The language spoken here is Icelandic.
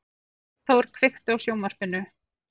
Arnþór, kveiktu á sjónvarpinu.